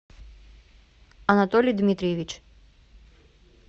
анатолий дмитриевич